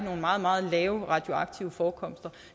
nogle meget meget lave radioaktive forekomster